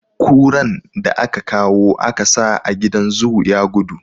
Kuran da aka kawo a ka sa a gidan zoo ya gudu.